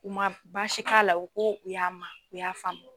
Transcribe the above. U ma baasi k'a la u ko u y'a ma u y'a faamu